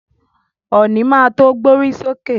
Ọ̀nì má to gbórí sókè.